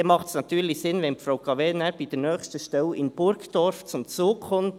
So macht es natürlich Sinn, wenn Frau Cavegn bei der nächsten Stelle in Burgdorf zum Zug kommt.